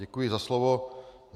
Děkuji za slovo.